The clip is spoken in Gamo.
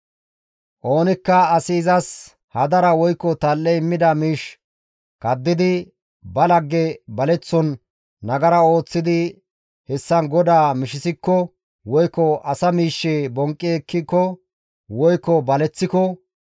«Oonikka asi izas hadara woykko tal7e immida miish kaddidi ba lagge baleththon nagara ooththidi hessan GODAA mishisikko woykko asa miishshe bonqqi ekkiko woykko baleththiko,